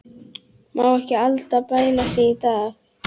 Má ekki Alda bæla sig í dag.